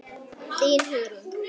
Þín Hugrún.